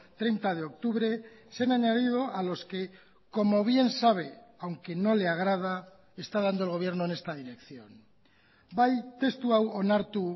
treinta de octubre se han añadido a los que como bien sabe aunque no le agrada está dando el gobierno en esta dirección bai testu hau onartu